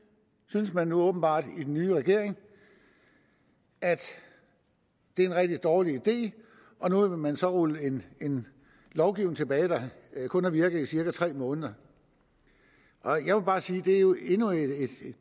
synes man nu åbenbart i den nye regering er en rigtig dårlig idé og nu vil man så rulle en lovgivning tilbage der kun har virket i cirka tre måneder jeg vil bare sige at det jo er endnu et